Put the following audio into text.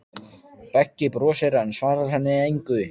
Beggi brosir, en svarar henni engu.